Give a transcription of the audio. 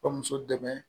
Ka muso dɛmɛ